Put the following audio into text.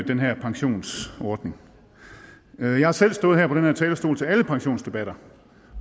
den her pensionsordning jeg har selv stået her på den her talerstol til alle pensionsdebatter